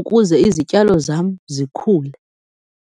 ukuze izityalo zam zikhule.